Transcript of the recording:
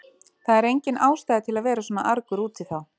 Það er engin ástæða til að vera svona argur út í þá.